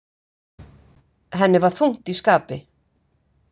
Henni var þungt í skapi.